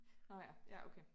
Nå ja ja okay